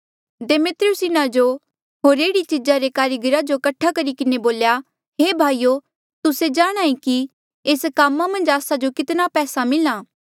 दिमेत्रियुस इन्हा जो होर एह्ड़ी चीजा रे कारीगरा जो कठे करी किन्हें बोल्या हे भाईयो तुस्से जाणहां ऐें कि एस कामा मन्झ आस्सा जो कितना पैसा मिल्हा आ